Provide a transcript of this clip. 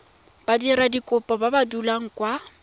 badiradikopo ba ba dulang kwa